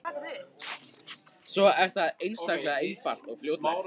Svo er það einstaklega einfalt og fljótlegt.